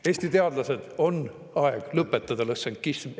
Eesti teadlased, on aeg lõpetada lõssenkism!